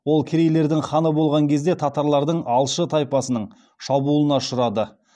ол керейлердің ханы болған кезінде татарлардың алшы тайпасының шабуылына ұшырады